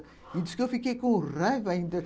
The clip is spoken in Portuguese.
E diz que eu fiquei com raiva ainda